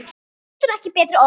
Getur ekki betri orðið.